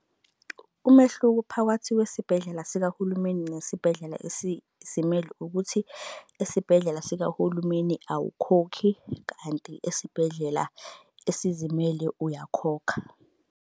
Umehluko phakathi kwesibhedlela sikahulumeni nesibhedlela esizimele ukuthi esibhedlela sikahulumeni awukhokhi kanti esibhedlela esizimele uyakhokha.